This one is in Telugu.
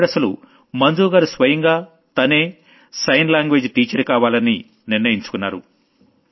ఇప్పుడసలు మంజుగారు స్వయంగా తనే సైన్ లాంగ్వేజ్ టీచర్ కావాలని నిర్ణయించుకున్నారు